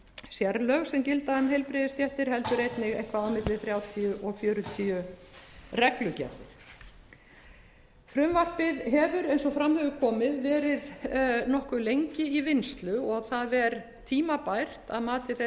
sérlög sem gilda um heilbrigðisstéttir heldur einnig eitthvað á milli þrjátíu og fjörutíu reglugerðir frumvarpið hefur eins og fram hefur komið verið nokkuð lengi í vinnslu og það er tímabært að mati þeirra sem